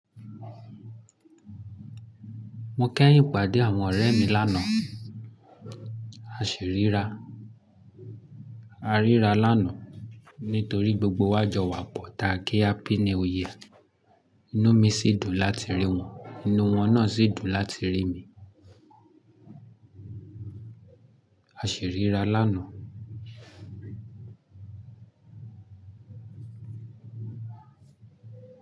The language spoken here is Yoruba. Mọ kẹ́yìn pàdé àwọn ọ̀rẹ́ mi lánàá, a ṣì rírà. A ríra lánàá nítorí gbogbo wa jọ wà pọ̀ ta ki happy new year. Inú mi sì dùn láti rí wọn, inú wọn náà sì dùn láti rí mi. A sì ríra lánàá.